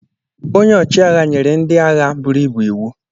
onye-ọchi-agha nyere ndi-agha buru ibu iwu